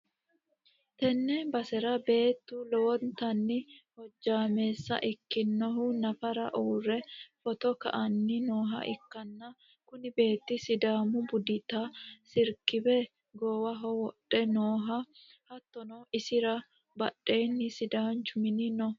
tenne basera beettu lowontanni hojjaameessa ikkinohu nafara uurre footo ka'anni nooha ikkanna, kuni beettino sidaamu budita isikerbe goowaho wodhe nooho, hattono isi'ra badhenni sidaanchu mini no.